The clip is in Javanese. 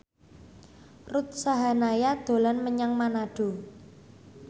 Ruth Sahanaya dolan menyang Manado